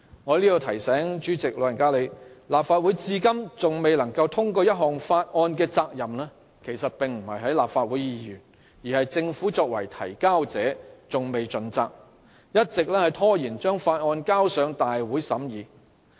"我在此提醒主席，立法會至今仍未能通過一項法案的責任其實不在議員，而是政府未有盡責，一直拖延將法案提交大會審議。